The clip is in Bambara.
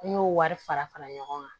N y'o wari fara fara ɲɔgɔn kan